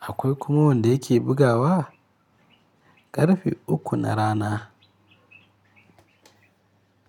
akwai kuma wanda yake bugawa ƙarfe uku na rana.